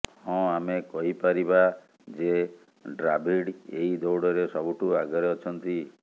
ହଁ ଆମେ କହିପାରିବା ଯେ ଡ୍ରାଭିଡ୍ ଏହି ଦୌଡ଼ରେ ସବୁଠୁ ଆଗରେ ଅଛନ୍ତି